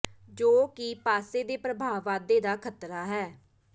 ਜੋ ਕਿ ਪਾਸੇ ਦੇ ਪ੍ਰਭਾਵ ਵਾਧੇ ਦਾ ਖਤਰਾ ਹੈ